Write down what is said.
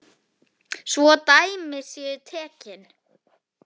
Svo dæmi séu tekin.